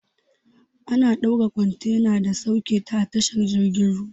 Ana dora kwantena da sauketa a tashar jirgin ruwa.